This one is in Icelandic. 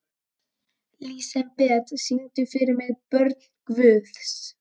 Lísebet, syngdu fyrir mig „Börn Guðs“.